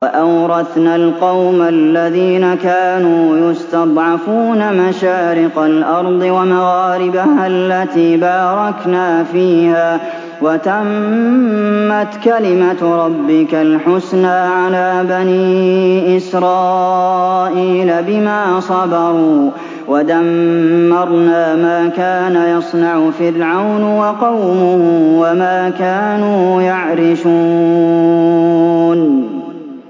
وَأَوْرَثْنَا الْقَوْمَ الَّذِينَ كَانُوا يُسْتَضْعَفُونَ مَشَارِقَ الْأَرْضِ وَمَغَارِبَهَا الَّتِي بَارَكْنَا فِيهَا ۖ وَتَمَّتْ كَلِمَتُ رَبِّكَ الْحُسْنَىٰ عَلَىٰ بَنِي إِسْرَائِيلَ بِمَا صَبَرُوا ۖ وَدَمَّرْنَا مَا كَانَ يَصْنَعُ فِرْعَوْنُ وَقَوْمُهُ وَمَا كَانُوا يَعْرِشُونَ